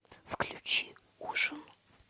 включи ужин